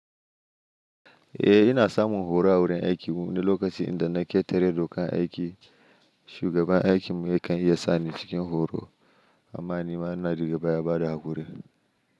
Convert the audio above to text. Eh, ina samun horo a wurin aikina lokacin da na ƙetare dokar aiki. Shugaban aikina yakan iya sani cikin horo amma ni ma ina rigaba yabada hakuri.